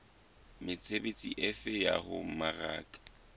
mesebetsi efe ya ho mmaraka